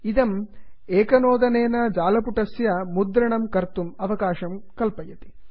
इदम् एकनोदनेन जालपुटस्य मुद्रणं कर्तुम् अवकाशं कल्पयति